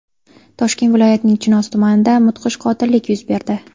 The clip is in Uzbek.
Toshkent viloyatining Chinoz tumanida mudhish qotillik yuz berdi.